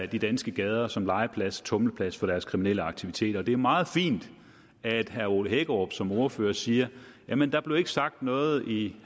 de danske gader som legeplads tumleplads for deres kriminelle aktiviteter og det er meget fint at herre ole hækkerup som ordfører siger jamen der blev ikke sagt noget i